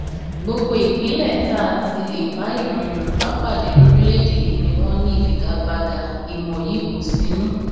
gbogbo ìpínlẹ tá a ti lè bá ìran yorùbá pàdé lórílẹèdè yìí ni wọn ní ìfigagbága ìmọ yìí kó sínú